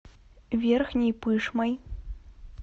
верхней пышмой